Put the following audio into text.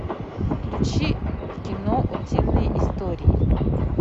включи кино утиные истории